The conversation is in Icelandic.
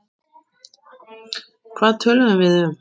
Hvað töluðum við um?